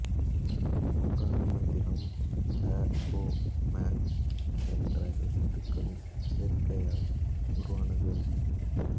ஓங்கார மந்திரம் அ உ ம என்ற எழத்துக்களின் சேர்கையால் உருவானது